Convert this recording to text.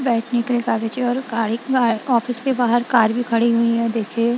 बैठने के लिए कागज है और गाड़ी ऑफिस के बाहर कार भी खड़ी हुई हैं देखिए।